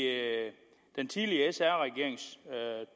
den tidligere sr regerings